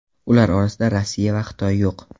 Ular orasida Rossiya va Xitoy yo‘q.